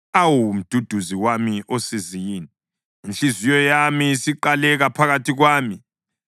Awu Mduduzi wami osizini, inhliziyo yami isiqaleka phakathi kwami.